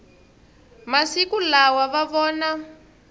masiku lawa va vona